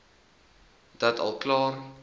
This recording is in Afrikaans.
dalk al klaar